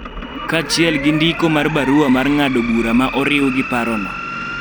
kaachiel gi ndiko mar barua mar ng�ado bura ma oriw gi parono,